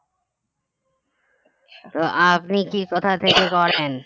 তো আপনি কি কোথা থেকে করেন